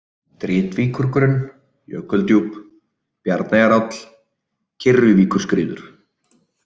Dritvíkurgrunn, Jökuldjúp, Bjarneyjaáll, Kyrruvíkurskriður